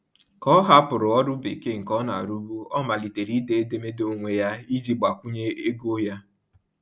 Ka ọ hapụrụ ọrụ bekee nke ọ na-arụbu, ọ malitere ide edemede onwe ya iji gbakwunye ego ya.